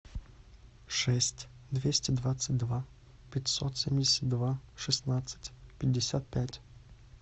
шесть двести двадцать два пятьсот семьдесят два шестнадцать пятьдесят пять